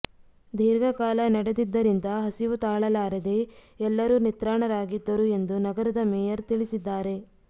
ದೀರ್ಘಕಾಲ ನಡೆದಿದ್ದರಿಂದ ಹಸಿವು ತಾಳಲಾರದೇ ಎಲ್ಲರೂ ನಿತ್ರಾಣರಾಗಿದ್ದರು ಎಂದು ನಗರದ ಮೇಯರ್ ತಿಳಿಸಿದ್ದಾರೆ